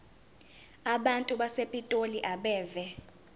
abantu basepitoli abeve